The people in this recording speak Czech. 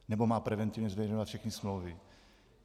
Nebo má preventivně zveřejňovat všechny smlouvy?